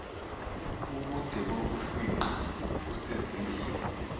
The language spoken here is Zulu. ubude bokufingqa kusezingeni